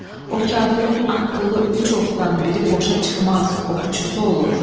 O kafirin atdığı üç oxdan biri boşa çıxmaz, oxçusu olur.